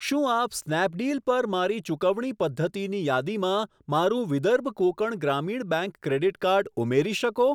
શું આપ સ્નેપડીલ પર મારી ચુકવણી પદ્ધતિની યાદીમાં મારું Vidarbha Konkan Gramin bank credit card ઉમેરી શકો?